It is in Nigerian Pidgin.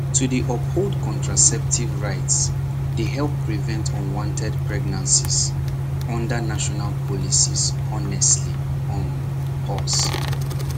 to dey uphold contraceptive rights dey help prevent unwanted pregnancies under national policies honestly um pause